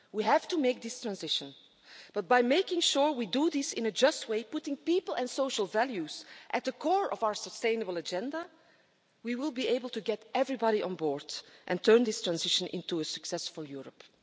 We have to make this transition, but by making sure we do this in a just way, putting people and social values at the core of our sustainable agenda, we will be able to get everybody on board and turn this transition into a successful Europe.